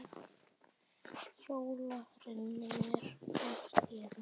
Hjóla, renni mér á sleða.